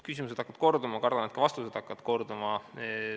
Küsimused hakkavad korduma, kardan, et ka vastused hakkavad korduma.